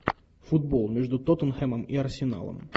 футбол между тоттенхэмом и арсеналом